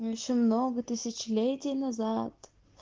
ещё много тысячелетий назад